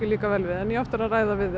líka vel við en ég á eftir að ræða við